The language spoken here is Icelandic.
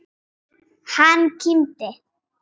Hann kímdi.